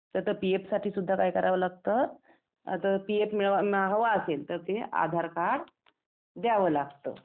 तर आता पीएफ साठी सुद्धा काय करावं लागतं पीएफ हवा असेल तर ते आधार कार्ड द्यावं लागतं.